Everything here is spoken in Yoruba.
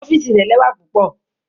Ọfiisi rẹ lẹwa pupọ.